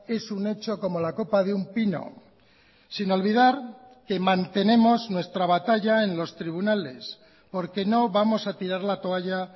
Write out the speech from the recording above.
es un hecho como la copa de un pino sin olvidar que mantenemos nuestra batalla en los tribunales porque no vamos a tirar la toalla